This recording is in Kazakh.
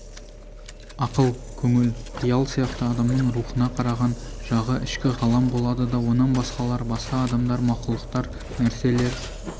ақыл көңіл қиял сияқты адамның рухына қараған жағы ішкі ғалам болады да онан басқалар басқа адамдар мақұлықтар нәрселер